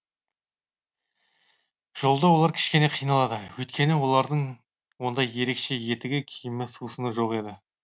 жолда олар кішкене қиналады өйткені олардың ондай ерекше етігі киімі сусыны жоқ еді